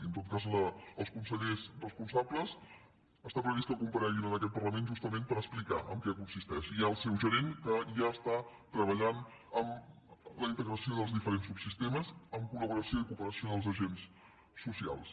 i en tot cas els consellers responsables està previst que compareguin en aquest parlament justament per explicar en què consisteix i hi ha el seu gerent que ja està treballant en la integració dels diferents subsistemes amb col·laboració i cooperació dels agents socials